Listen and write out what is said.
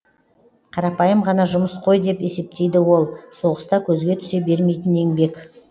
қарапайым ғана жұмыс қой деп есептейді ол соғыста көзге түсе бермейтін еңбек